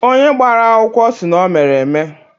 Onye gbara akwụkwọ sị na o mere eme